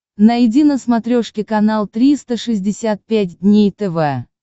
найди на смотрешке канал триста шестьдесят пять дней тв